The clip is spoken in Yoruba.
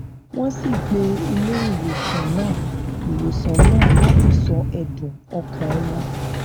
wón sì pé ilé ìwòsàn náà ìwòsàn náà láti sọ èdùn ọkàn wọn